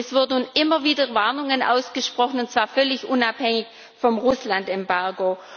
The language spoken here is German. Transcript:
Es werden nun immer wieder Warnungen ausgesprochen, und zwar völlig unabhängig vom Russland Embargo.